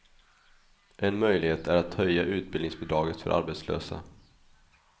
En möjlighet är att höja utbildningsbidraget för arbetslösa.